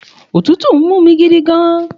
Òtútù n múmi gidigan